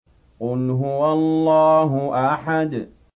قُلْ هُوَ اللَّهُ أَحَدٌ